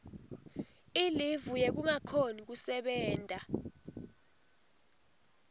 ilivu yekungakhoni kusebenta